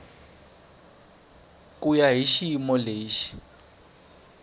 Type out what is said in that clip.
ku ya hi xiyimo lexi